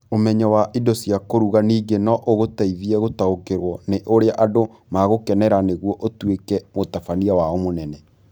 Ũmenyo wa indo cia kũruga ningĩ no ũgũteithie gũtaũkĩrũo nĩ ũrĩa andũ magũkenera nĩguo ũtuĩke mũtabania wao mũnene.